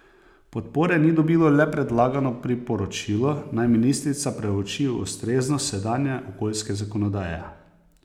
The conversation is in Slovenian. Podpore ni dobilo le predlagano priporočilo, naj ministrica preuči ustreznost sedanje okoljske zakonodaje.